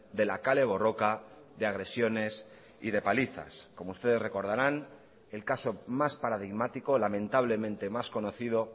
de la kale borroka de agresiones y de palizas como ustedes recordarán el caso más paradigmático lamentablemente más conocido